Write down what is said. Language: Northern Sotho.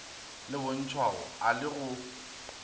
le bontšhwago a le go